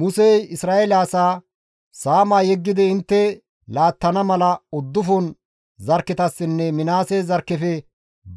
Musey Isra7eele asaa, «Saama yeggidi intte laattana mala uddufun zarkketassinne Minaase zarkkefe